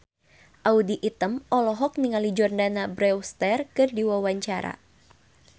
Audy Item olohok ningali Jordana Brewster keur diwawancara